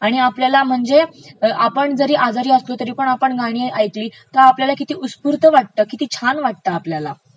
आणि आपल्याला म्हणजे आपण जरी आजारी असलो तरी गाणी ऐकली तर आपल्याला किती उत्स्फूर्त वाटतं, किती छान वाटतं आपल्याला